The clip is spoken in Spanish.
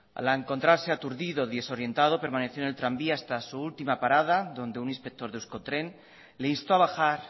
al encontrarse aturdido y desorientado permaneció en el tranvía hasta su última parada donde un inspector de euskotren le instó a bajar